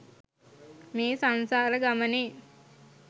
මේ සංසාර ගමනේ්